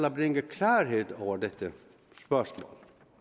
at bringe klarhed over dette spørgsmål